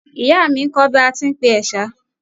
Ìyá mi n kọ́ ọ bí a tí ń pe ẹ̀sà